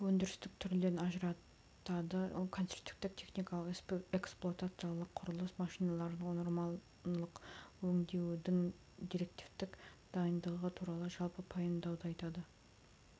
өндірістілік түрлерін ажыратады конструктивтік техникалық эксплуатациялық құрылыс машиналарын нормалық өңдеудің директивтік дайындығы туралы жалпы пайымдауды айтады